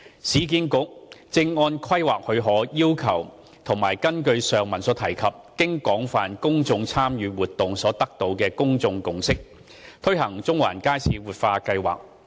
市建局正按規劃許可要求及根據上文提及經廣泛公眾參與活動後所得的公眾共識，推行中環街市活化計劃。